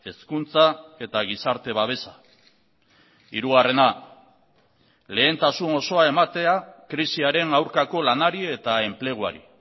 hezkuntza eta gizarte babesa hirugarrena lehentasun osoa ematea krisiaren aurkako lanari eta enpleguari